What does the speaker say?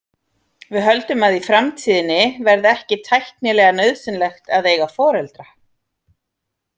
Við höldum að í framtíðinni verði ekki tæknilega nauðsynlegt að eiga foreldra.